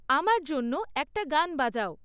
আমার জন্য্য একটা গান বাজাও